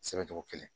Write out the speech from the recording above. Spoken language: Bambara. Sɛbɛn cogo kelen